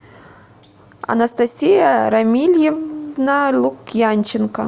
анастасия рамильевна лукьянченко